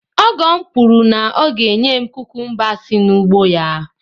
ọgọ m kwuru na ọ ga-enye m kukumba si n’ugbo ya